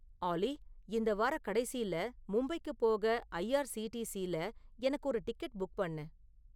ஆல்லி இந்த வாரக்கடைசில மும்பைக்குப் போக ஐஆர்சிடிசில எனக்கு ஒரு டிக்கெட் புக் பண்ணு